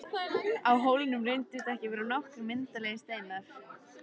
Á hólnum reyndust vera nokkrir myndarlegir steinar.